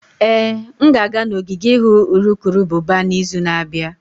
Ee, m ga-aga n'ogige ịhụ urukurubụba n'izu na-abịa.